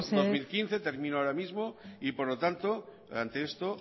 dos mil quince amaitu mesedez termino ahora mismo y por lo tanto de esto